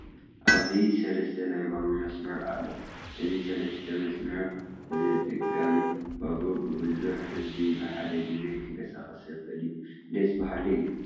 ኣብዚ ሰለስተ ናይ ባቡር መስመር ኣሎ፡፡ እዚ ሰለስተ መስመር ዝጥቀም ባቡር ብዙሕ ህዝቢ ብሓደ ግዜ ከንቀሳቕስ ዝኽእል እዩ፡፡ ደስ በሃሊ እዩ፡፡